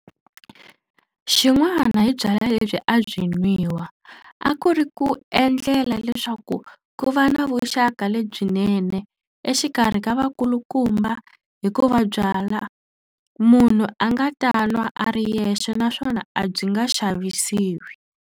Xin'wana hi byalwa lebyi a byi nwiwa a ku ri ku endlela leswaku ku va na vuxaka lebyinene exikarhi ka vakulukumba hikuva byalwa munhu a nga ta nwa a ri yexe naswona a byi nga xavisiwi.